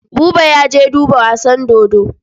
Buba ya je duba wasan dodo.